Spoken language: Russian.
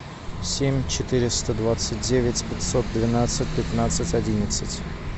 семь четыреста двадцать девять пятьсот двенадцать пятнадцать одиннадцать